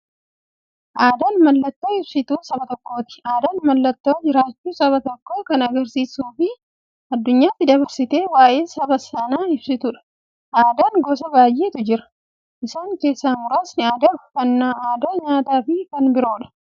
Aadaan mallattoo ibsituu saba tokkooti. Aadaan mallattoo jiraachuu saba tokkoo kan agarsiistufi addunyyaatti dabarsitee waa'ee saba sanaa ibsituudha. Aadaan gosa baay'eetu jira. Isaan keessaa muraasni aadaa, uffannaa aadaa nyaataafi kan biroo.